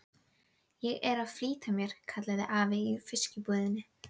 Ég er að flýta mér, kallaði afi í fiskbúðinni.